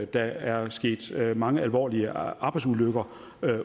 der er sket mange alvorlige arbejdsulykker